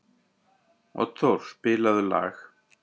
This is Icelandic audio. Oddþór, spilaðu lag.